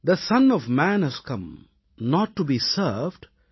they son of man has come not to be served